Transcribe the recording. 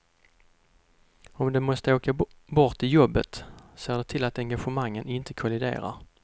Om de måste åka bort i jobbet ser de till att engagemangen inte kolliderar.